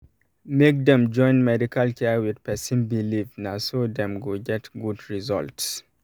make dem join medical care with person believe na um so dem go get good um result. um